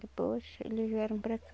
Depois eles vieram para cá.